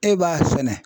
E b'a sɛnɛ